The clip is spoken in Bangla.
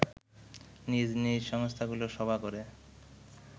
নিজ নিজ সংস্থাগুলো সভা করে